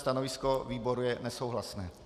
Stanovisko výboru je nesouhlasné.